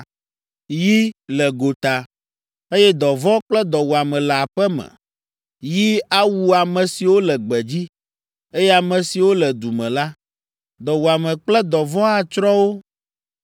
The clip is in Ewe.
Yi le gota, eye dɔvɔ̃ kple dɔwuame le aƒe me. Yi awu ame siwo le gbedzi, eye ame siwo le du me la, dɔwuame kple dɔvɔ̃ atsrɔ̃ wo.